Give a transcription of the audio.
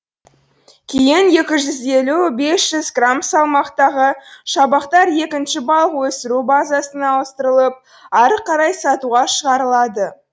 кейін екі жүз елу бес жүз грамм салмақтағы шабақтар екінші балық өсіру базасына ауыстырылып әрі қарай сатуға шығарылады